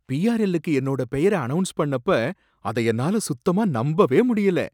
PRL க்கு என்னோட பெயர அனௌன்ஸ் பண்ணப்ப அத என்னால சுத்தமா நம்பவே முடியல